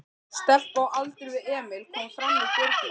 Stelpa á aldur við Emil kom fram í dyrnar.